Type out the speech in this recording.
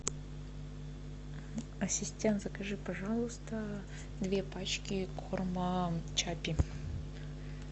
ассистент закажи пожалуйста две пачки корма чаппи